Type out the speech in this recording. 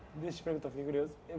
Deixa eu te perguntar, fiquei curioso.